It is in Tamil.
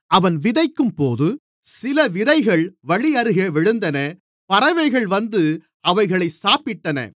அவன் விதைக்கும்போது சில விதைகள் வழியருகே விழுந்தன பறவைகள் வந்து அவைகளைச் சாப்பிட்டன